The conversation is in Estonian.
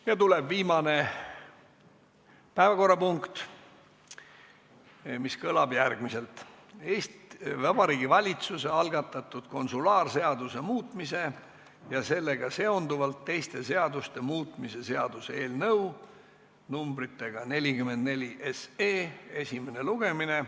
Nüüd tuleb viimane päevakorrapunkt, mis kõlab järgmiselt: Vabariigi Valitsuse algatatud konsulaarseaduse muutmise ja sellega seonduvalt teiste seaduste muutmise seaduse eelnõu 44 esimene lugemine.